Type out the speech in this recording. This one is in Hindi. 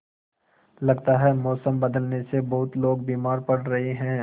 लगता है मौसम बदलने से बहुत लोग बीमार पड़ रहे हैं